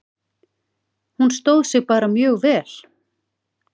Hún stóð sig bara mjög vel.